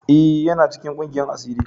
E,yana cikin ƙungiyan asiri.